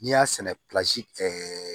N'i y'a sɛnɛ ɛɛ